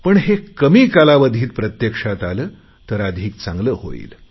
पण हे कमी कालावधीत प्रत्यक्षात आले तर अधिक चांगले होईल